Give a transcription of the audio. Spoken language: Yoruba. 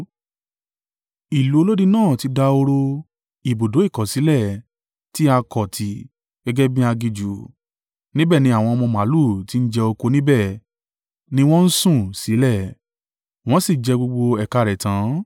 Ìlú olódi náà ti dahoro, ibùdó ìkọ̀sílẹ̀, tí a kọ̀ tì gẹ́gẹ́ bí aginjù; níbẹ̀ ni àwọn ọmọ màlúù ti ń jẹ oko níbẹ̀ ni wọn ń sùn sílẹ̀; wọn sì jẹ gbogbo ẹ̀ka rẹ̀ tán.